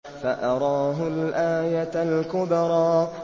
فَأَرَاهُ الْآيَةَ الْكُبْرَىٰ